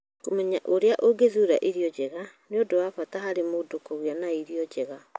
Kũmenya ũrĩa ũngĩthuura irio njega nĩ ũndũ wa bata harĩ mũndũ kũgĩa na irio njega.